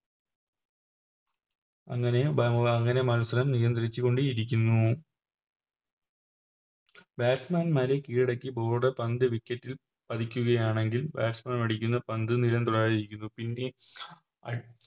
അങ്ങനെ ബ അങ്ങനെ മത്സരം നിയന്ത്രിച്ചു കൊണ്ടിരിക്കുന്നു Batsman മാറി കീഴടക്കി Bowler പന്ത് Wicket ൽ പതിക്കുകയാണെങ്കിൽ Batsman അടിക്കുന്ന പന്ത് നിലം തൊടാതിരിക്കുന്നു പിന്നെ